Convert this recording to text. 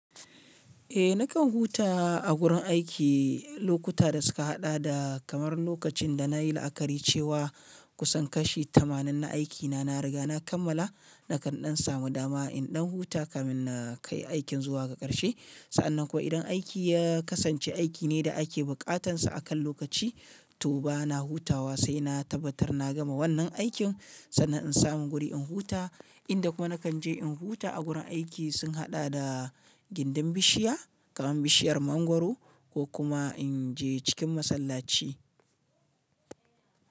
Eh nakan huta a gurin aiki lokuta da suka haɗa da kamar lokacin da na yi la'akari cewa kusan kashi tamanin na aikina na riga na kammala nakan ɗan samu dama in ɗan huta kafin na kai aikin zuwa ga karshe. Sa'annan kuwa idan aiki ya kasance aiki ne da ake bukatarsa akan lokaci, to ba na hutawa sai na tabbatar na gama wannan aikin sannan in samu guri in huta. Inda kuma nakan je in huta a gurin aiki sun haɗa da gindin bishiya kamar bishiyar mangwaro ko kuma in je cikin masallaci.